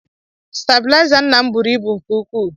Stebilaịza nna m buru ibu nke ukwu.